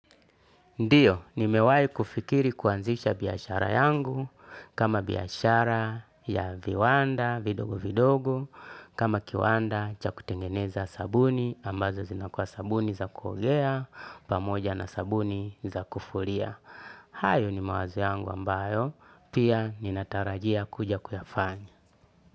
Ndiyo, ni mewai kufikiri kuanzisha biashara yangu, kama biashara ya viwanda, vidogo vidogo, kama kiwanda cha kutengeneza sabuni, ambazo zinakua sabuni za kuogea, pamoja na sabuni za kufuria. Hayo ni mawazo yangu ambayo, pia ni natarajia kuja kuyafanya.